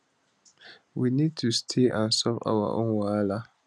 we need to stay and solve our own wahala